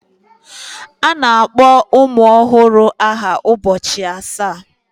A na-akpọ ụmụ ọhụrụ aha ụbọchị asaa.